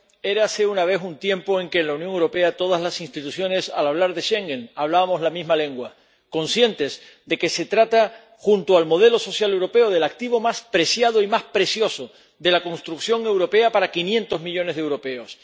Érase una vez un tiempo en que en la Unión Europea todas las instituciones —al hablar de Schengen— hablábamos la misma lengua, conscientes de que se trata, junto al modelo social europeo, del activo más preciado y más precioso de la construcción europea para quinientos millones de europeos.